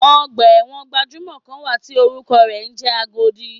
Ọgbà ẹ̀wọ̀n gbajúmò kan wà tí orúkọ rẹ̀ ń jẹ́ Agodi.